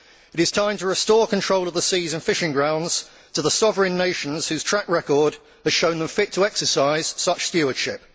It is time to restore control of the seas and fishing grounds to the sovereign nations, whose track record has shown them fit to exercise such stewardship.